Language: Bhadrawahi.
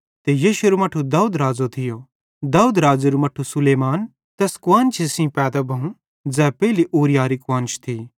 ते यिशैरू मट्ठू दाऊद राज़ो थियो दाऊद राज़ेरू मट्ठू सुलैमान तैस कुआन्शी सेइं पैदा भोव ज़ै पेइली ऊरिय्याहरी कुआन्श थी